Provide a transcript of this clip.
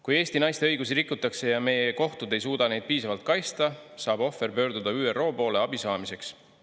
Kui Eesti naiste õigusi rikutakse ja meie kohtud ei suuda neid piisavalt kaitsta, saab ohver pöörduda ÜRO poole abi saamiseks.